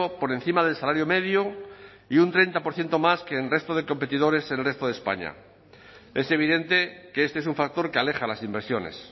por encima del salario medio y un treinta por ciento más que el resto de competidores en el resto de españa es evidente que este es un factor que aleja a las inversiones